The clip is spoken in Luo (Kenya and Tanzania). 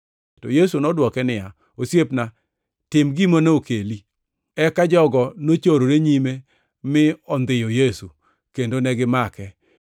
To Yesu nodwoko niya, “Osiepna, tim gima nokeli.” Eka jogo nochorore nyime mi ondhiyo Yesu, kendo negimake.